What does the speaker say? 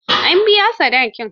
An biya sadakin?